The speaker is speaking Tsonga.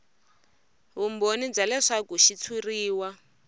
vumbhoni bya leswaku xitshuriwa